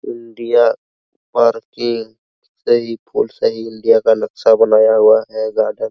India parking India का नक्शा बना हुआ हैवह है जहाँ पर --